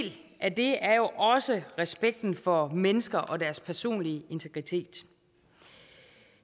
af det er jo også respekten for mennesker og deres personlige integritet